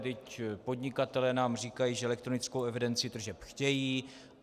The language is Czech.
Vždyť podnikatelé nám říkají, že elektronickou evidenci tržeb chtějí.